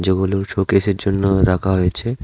এগুলো শোকেসের জন্য রাখা হয়েছে।